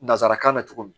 Nansarakan bɛ cogo min